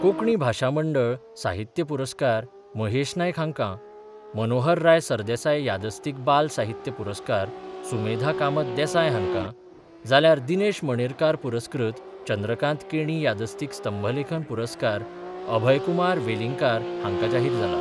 कोंकणी भाशा मंडळ साहित्य पुरस्कार महेश नायक हाँका, मनोहरराय सरदेसाय यादस्तीक बाल साहित्य पुरस्कार सुमेधा कामत देसाय हाँका जाल्यार दिनेश मणेरकार पुरस्कृत चंद्रकांत केणी यादस्तीक स्तंभलेखन पुरस्कार अभयकुमार वेलींगकार हाँका जाहीर जाला.